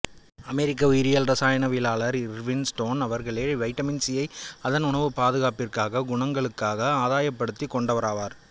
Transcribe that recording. அமெரிக்க உயிரியல்இராசாயனவியலாளர் Irwin Stone அவர்களே vitamin C யை அதன் உணவு பாதுகாப்பிற்கான குணங்களுக்காக ஆதாயப்படுத்திக் கொண்டவராவார்